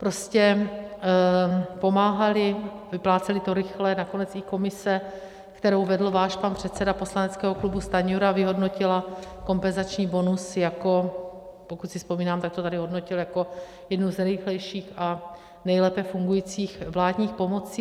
Prostě pomáhali, vypláceli to rychle, nakonec i komise, kterou vedl váš pan předseda poslaneckého klubu Stanjura, vyhodnotila kompenzační bonus jako, pokud si vzpomínám, tak to tady hodnotil jako jednu z nejrychlejších a nejlépe fungujících vládních pomocí.